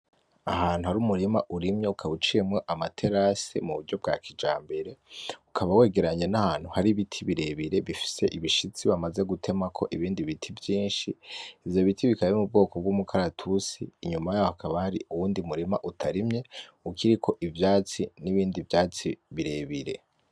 Ahantu hari umurima urimye ukaba uciyemwo amaterase mu buryo bwa kijambere. Ukaba wegeranye n'ahantu hari ibiti birebire bifise ibishitsi bamaze gutemako ibindi biti vyinshi. Ivyo biti bikaba biri mu bwoko bw'umukaratusi. Inyuma yaho hakaba hariho uwundi murima utarimye, ukiriko ivyatsi n'ibindi vyatsi birebire.